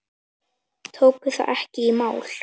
Tóku það ekki í mál.